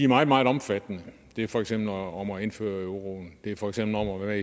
meget meget omfattende det er for eksempel om at indføre euroen det er for eksempel om at være